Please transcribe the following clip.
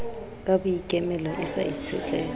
ka boikemelo e sa itshetleha